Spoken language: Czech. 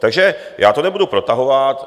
Takže já to nebudu protahovat.